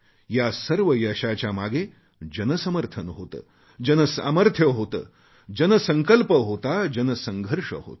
या सर्व यशाच्या मागे जनसमर्थन होते जनसामर्थ्य होते जनसंकल्प होता जनसंघर्ष होता